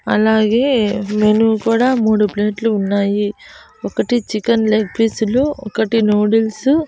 అలాగే మెనూ కూడా మూడు ప్లేట్లు ఉన్నాయి ఒకటి చికెన్ లెగ్ పీసులు ఒకటి నూడుల్సు --